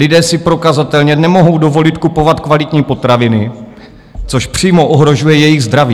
Lidé si prokazatelně nemohou dovolit kupovat kvalitní potraviny, což přímo ohrožuje jejich zdraví.